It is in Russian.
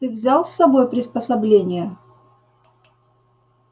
ты взял с собой приспособления